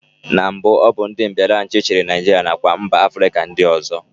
Na mbụ, ọ bụ ndị mbịaraachị chịrị Naijiria nakwa mba Afrịka ndị ọzọ